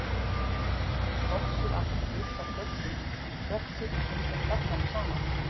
Þorpið allt er byggt á stöllum en tröppur tengja stallana saman.